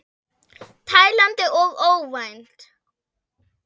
Tælandi og óvænt.